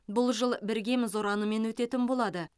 бұл жыл біргеміз ұранымен өтетін болады